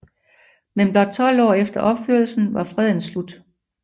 Men blot 12 år efter opførelsen var freden slut